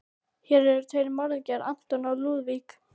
Hér eru tveir morðingjar, anton og Lúðvík.